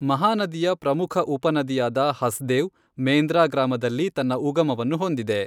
ಮಹಾನದಿಯ ಪ್ರಮುಖ ಉಪನದಿಯಾದ ಹಸ್ದೇವ್, ಮೇಂದ್ರ ಗ್ರಾಮದಲ್ಲಿ ತನ್ನ ಉಗಮವನ್ನು ಹೊಂದಿದೆ.